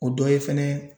O dɔ ye fɛnɛ